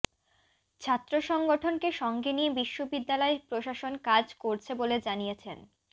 ছাত্র সংগঠনকে সঙ্গে নিয়ে বিশ্ববিদ্যালয় প্রশাসন কাজ করছে বলে জানিয়েছেন